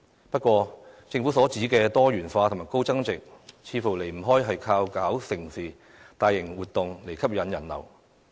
不過，政府所指的"多元化"和"高增值"，似乎離不開藉着舉辦"盛事"及大型活動來吸引人流。